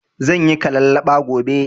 Zanyi kalallaɓa gobe